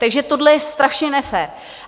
Takže tohle je strašně nefér!